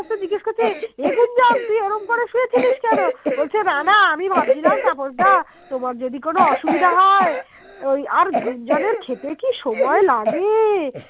বলছি না না আমি ভাবছিলাম তাপস দা তোমার যদি কোনো অসুবিধা হয় আর গুঞ্জনের খেতে কি সময় লাগে